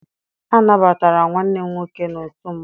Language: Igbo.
A nabatara nwanne m nwoke n'otu mmanwụ.